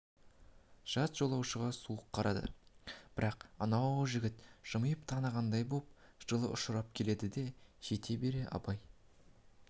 жат жолаушыға суық қарады бірақ анау жігіт жымиып танығандай боп жылы ұшырап келеді жете бере абай